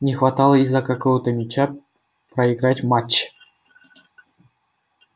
не хватало из-за какого-то мяча проиграть матч